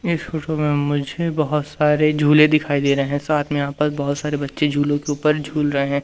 इस फोटो में मुझे बहोत सारे झूले दिखाई दे रहे हैं साथ में यहां पर बहोत सारे बच्चे झूलों के ऊपर झूल रहे हैं।